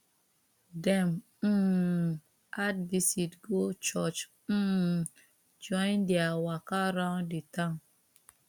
dem um add visit go church um join their waka round the town